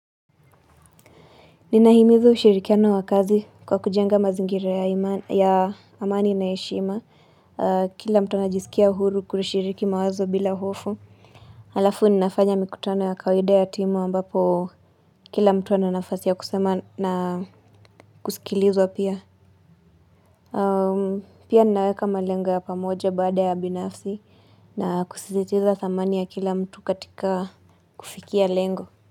Ninahimiza ushirikiano wa kazi kwa kujenga mazingira ya amani na ya heshima kila mtu anajisikia huru kurishiriki mawazo bila hofu Alafu ninafanya mikutano ya kawaida ya timu ambapo kila mtu ana nafasi ya kusema na kusikilizwa pia Pia ninaweka malengo ya pamoja baada ya binafsi na kusizitiza thamani ya kila mtu katika kufikia lengo.